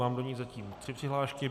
Mám do ní zatím tři přihlášky.